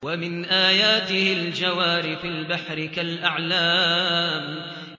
وَمِنْ آيَاتِهِ الْجَوَارِ فِي الْبَحْرِ كَالْأَعْلَامِ